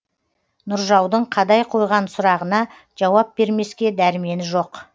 нұржаудың қадай қойған сұрағына жауап бермеске дәрмені жоқ